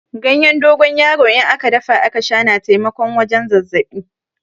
Ganyen dogon yaro in aka dafa aka Sha na taimakon wajen zazzabi.